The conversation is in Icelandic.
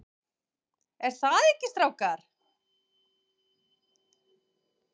ER ÞAÐ EKKI, STRÁKAR?